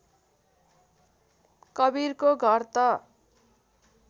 कवीरको घर त